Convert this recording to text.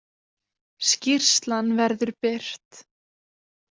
Skýrslan verður birt